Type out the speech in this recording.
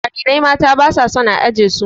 Jarirai mata ba su son a aje su.